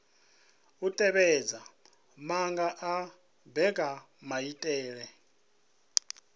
u tevhedza maga a mbekanyamaitele